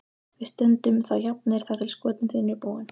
Við stöndum þá jafnir þar til skotin þín eru búin.